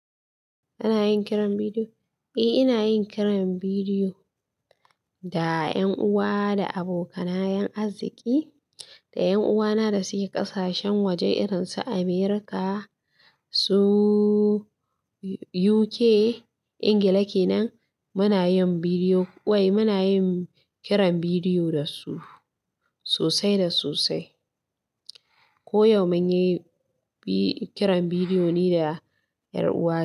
Kana yin kiran bidiyo? Eh, ina yin kiran bidiyo da 'yan uwa da abokanan arziƙi da 'yan uwana da suke ƙasashen waje irin su America, su UK Ingila kenan. Muna kiran bidiyo da su sosai da sosai ko yau mun yi kiran bidiyo ni da 'yar uwa.